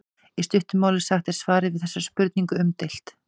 í stuttu máli sagt er svarið við þessari spurningu umdeilt